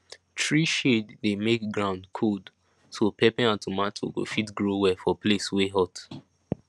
tree shade dey make ground cold so pepper and tomato go fit grow well for place wey hot